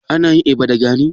Ana yin eba da gari?